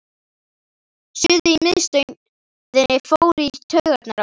Suðið í miðstöðinni fór í taugarnar á honum.